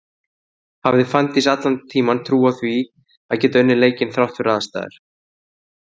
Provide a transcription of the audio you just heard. Hafði Fanndís allan tíman trú á því að geta unnið leikinn þrátt fyrir aðstæður?